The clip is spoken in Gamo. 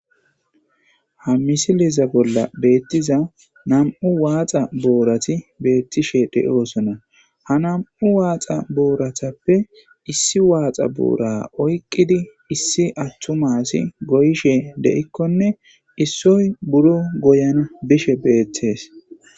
Hayssa misileza bolla taasi beetizay aaze gizayssa giddiko woykko xeelishin dizayssi nam'u waaxa booray dumma dumma lo'iza miishata gidoyssi qoncce gididi dizayssa besees.